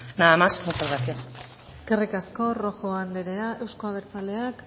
nada más y muchas gracias eskerrik asko rojo anderea euzko abertzaleak